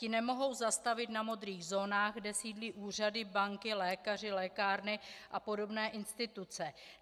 Ti nemohou zastavit na modrých zónách, kde sídlí úřady, banky, lékaři, lékárny a podobné instituce.